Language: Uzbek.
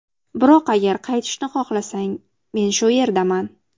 Biroq agar qaytishni xohlasang, men shu yerdaman.